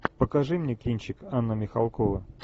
покажи мне кинчик анна михалкова